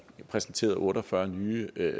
præsenteret otte og fyrre nye